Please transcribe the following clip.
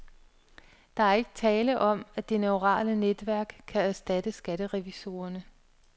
Der er ikke tale om, at det neurale netværk kan erstatte skatterevisorerne.